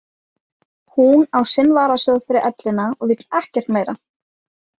Hún á sinn varasjóð fyrir ellina og vill ekkert meira.